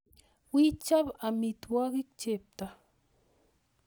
Wii ichob omitwo'kik chepto